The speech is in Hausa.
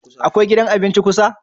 Akwai gidan abinci kusa?